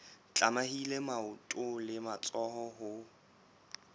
tlamehile maoto le matsoho ho